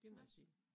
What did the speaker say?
Nåh